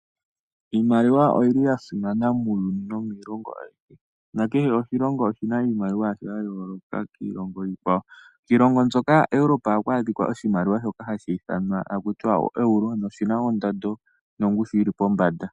Iimaliwa oya simana muuyuni nakehe oshilongo oshi na iimaliwa yasho ya yooloka kiilongo iikwawo. Iilongo mbyoka Europa ohaku adhika oshimaliwa shoka haku tiwa oero oshimaliwa sha yooloka kiikwawo.